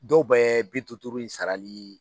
Dɔw bɛɛ ye bi duuru duuru in sarali